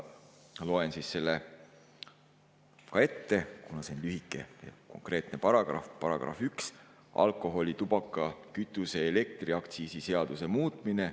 Ma loen selle ka ette, kuna see on lühike ja konkreetne: "§ 1 "Alkoholi‑, tubaka‑, kütuse‑ ja elektriaktsiisi seaduse muutmine".